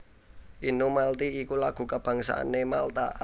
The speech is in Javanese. Innu Malti iku lagu kabangsané Malta